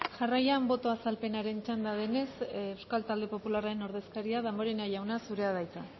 jarraian boto azalpenaren txanda denez euskal talde popularraren ordezkaria damborenea jauna zurea da hitza